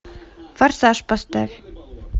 форсаж поставь